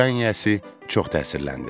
Dükan yiyəsi çox təsirləndi.